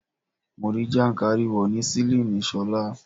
Mo rí jàǹkárìwò ní sílíìnì Ṣọlá.